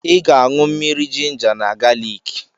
I ga-aṅụ mmiri jinja na galiki.